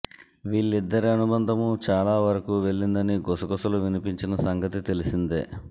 వీళ్లిద్దరి అనుబంధం చాలా వరకూ వెళ్లిందని గుసగుసలు వినిపించిన సంగతి తెలిసిందే